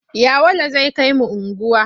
Yawale zai kai mu unguwa.